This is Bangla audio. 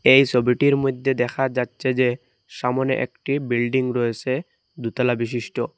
এই সবিটির মইধ্যে দেখা যাচ্ছে যে সামোনে একটি বিল্ডিং রয়েসে দু'তলা বিশিষ্ট।